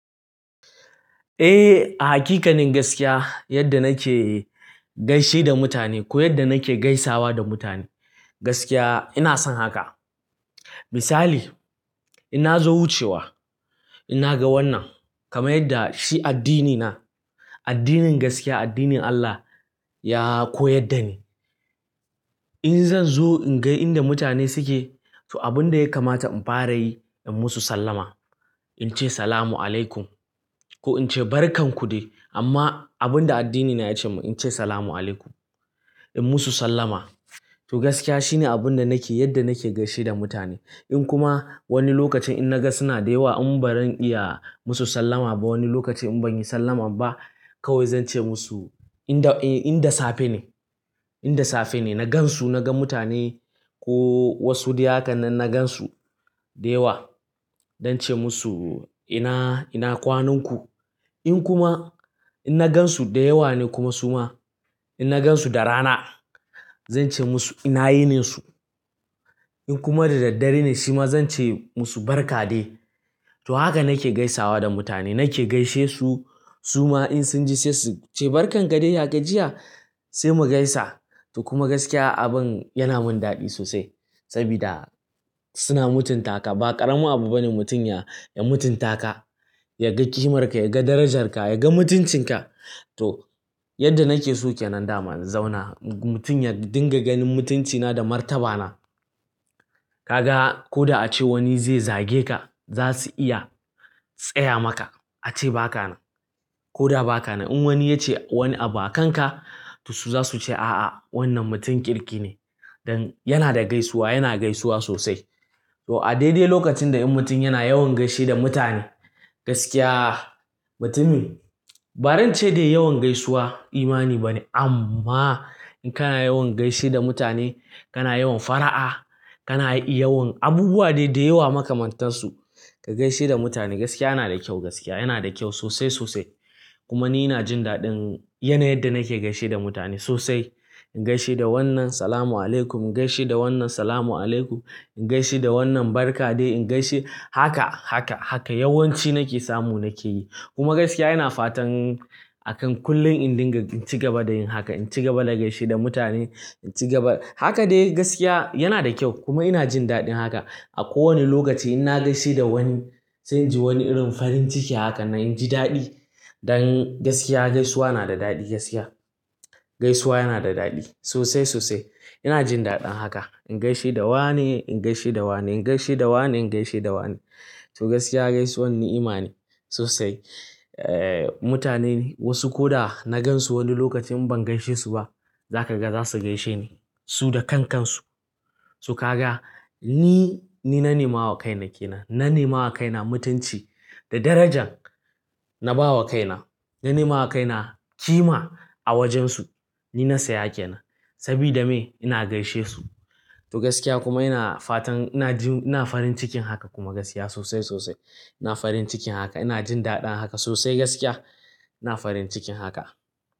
Eh, a haƙiƙanin gaskiya yadda nake gaishe da mutane ko yadda nake gaisawa da mutane gaskiya ina san haka. Misali, ina zo wucewa ina ga wannan kamar yadda shi addinina, addinin gaskiya, addinin Allah ya koyar da ni. In zan zo in ga inda mutane suke to abin da ya kamata in fara yi in musu sallama. In ce "Salamu alaykum" ko in ce "Barkan ku dai" amma abin da addinina ya ce mun in ce "Salamu alaykum" in musu sallama. To gaskiya shine abin da nake yadda nake gaishe da mutane. In kuma wani lokacin in na ga suna da yawa in bari iya musu sallama ba wani lokacin in ban yi sallama ba kawai zan ce musu in da, in da safe ne, in da safe ne na gan su, na ga mutane ko wasu dai haka nan na gan su da yawa don ce musu ina, ina kwanan ku? In kuma in na gan su da yawa ne kuma suma in na gan su da rana zan ce musu ina yininsu. In kuma da daddare ne shi ma zan ce musu "Barka de". To haka nake gaisawa da mutane nake gaishe su suma in sun ji sai su ce "Barkan ka de ya ka jiya" sai mu gaisa. To kuma gaskiya abin yana mun daɗi sosai sabida suna mutunta ka ba ƙaramin abu bane mutum ya, ya mutunta ka, ya ga ƙimar ka, ya ga darajarka, ya ga mutuncinka. To yadda nake so kenan da ma na zauna mutum ya dinga ganin mutuncina da martabana. Ka ga ko da ace wani zai zage ka za su iya tsaya maka ace ba ka nan. Ko da ba ka nan in wani ya ce wani abu a kanka to su za su ce a'a wannan mutum kirki ne don yana da gaisuwa, yana gaisuwa sosai. To a daidai lokacin da in mutum yana yawan gaishe da mutane gaskiya mutumin bazan ce dai yawan gaisuwa imani bane amma in kana yawan gaishe da mutane kana yawan fara'a, kana yi yawan abubuwa dai da yawa makamantansu. Ka gaishe da mutane gaskiya yana da kyau gaskiya yana da kyau sosai sosai. Kuma ni ina jin daɗin yana yadda nake gaishe da mutane sosai. In gaishe da wannan "Salamu alaykum", in gaishe da wannan "Salamu alaykum", in gaishe da wannan "Barka de", in gaishe haka, haka, haka yawanci nake samu nake yi. Kuma gaskiya yana fatan a kan kullum in dinga in ci gaba da yin haka, in ci gaba da gaishe da mutane, in ci gaba. Haka dai gaskiya yana da kyau kuma ina jin daɗin haka. A kowane lokaci in na gaishe da wani zan ji wani irin farin ciki haka nan in ji daɗi don gaskiya gaisuwa yana da daɗi gaskiya. Gaisuwa yana da daɗi sosai sosai. Ina jin daɗin haka. In gaishe da wane, in gaishe da wane, in gaishe da wane, in gaishe da wane. To gaskiya gaisuwan ni'ima sosai. Eh, mutane wasu ko da na gan su wani lokacin ban gaishe su ba za ka ga za su gaishe ni su da kan kansu. To ka ga ni, ni na nema wa kaina ke nan. Na nema wa kaina mutunci da darajan na ba wa kaina. Na nema wa kaina kima a wajen su. Ni na saya ke nan sabida me ina gaishe su. To gaskiya kuma ina fatan ina jin, ina farin cikin haka kuma gaskiya sosai sosai. Ina farin cikin haka ina jin daɗin haka sosai gaskiya. Ina farin cikin haka.